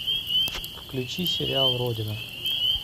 включи сериал родина